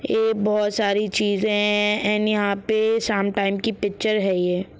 ये बहुत सारी चीज़े है एण्ड यहां पे शाम टाइम की पिक्चर है ये।